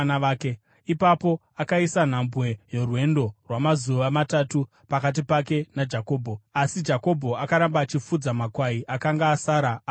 Ipapo akaisa nhambwe yorwendo rwamazuva matatu pakati pake naJakobho, asi Jakobho akaramba achifudza makwai akanga asara aRabhani.